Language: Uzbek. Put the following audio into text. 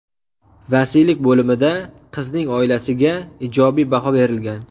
Vasiylik bo‘limida qizning oilasiga ijobiy baho berilgan.